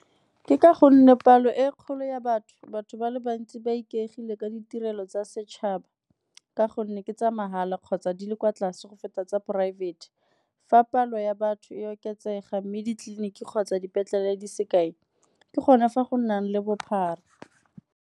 Ke ka gonne palo e kgolo ya batho, batho ba le bantsi ba ikaegile ka ditirelo tsa setšhaba ka gonne ke tsa mahala kgotsa di le kwa tlase go feta tsa poraefete. Fa palo ya batho e oketsega mme ditleliniki kgotsa dipetlele di se kae ke gone fa go nnang le bophara.